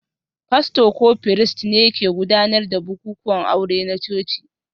Fasto ko firist ne ke gudanar da bukukuwan aure na coci